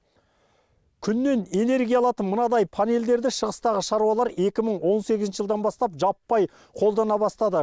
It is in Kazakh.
күннен энергия алатын мынадай панельдерді шығыстағы шаруалар екі мың он сегізінші жылдан бастап жаппай қолдана бастады